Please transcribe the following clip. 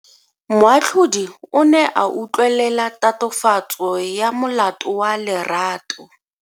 Moatlhodi o ne a utlwelela tatofatso ya molato wa Lerato.